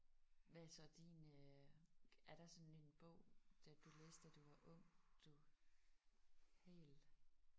Hvad er så din øh er der sådan en bog da du læste da du var ung du helt?